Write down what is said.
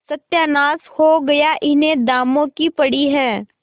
सत्यानाश हो गया इन्हें दामों की पड़ी है